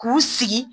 K'u sigi